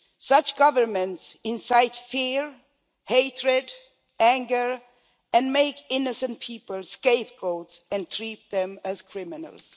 Such governments incite fear, hatred, anger, and make innocent people scapegoats and treat them as criminals.